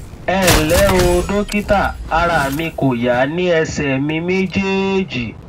ẹ ǹlẹ o dókítà ara mi kò yá ní ẹsẹ mi méjèèjì